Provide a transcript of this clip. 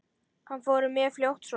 Hann fór mjög fljótt svona.